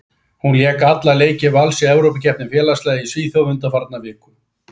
Hún lék alla leiki Vals í Evrópukeppni félagsliða í Svíþjóð undanfarna viku.